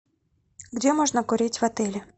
где можно курить в отеле